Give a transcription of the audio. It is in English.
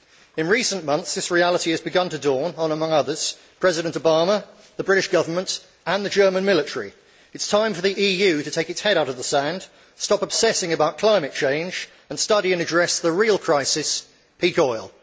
In recent months, this reality has begun to dawn on among others President Obama, the British Government and the German military. It is time for the EU to take its head out of the sand, stop obsessing about climate change, and study and address the real crisis peak oil.